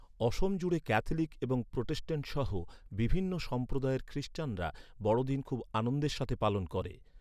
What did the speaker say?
অসম জুড়ে ক্যাথলিক এবং প্রোটেস্ট্যান্ট সহ বিভিন্ন সম্প্রদায়ের খ্রীস্টানরা বড়দিন খুব আনন্দের সাথে পালন করে।